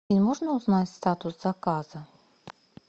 можно узнать статус заказа